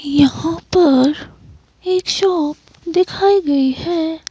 यहां पर एक शॉप दिखाई गई है।